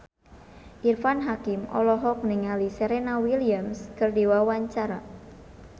Irfan Hakim olohok ningali Serena Williams keur diwawancara